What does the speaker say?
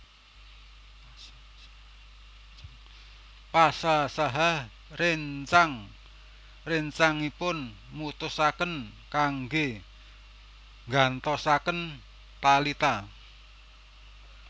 Pasha saha réncang réncangipun mutusaken kanggé nggantosaken Talita